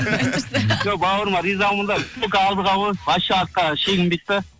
жоқ бауырыма ризамын да только алдыға ғой вообще артқа шегінбейді да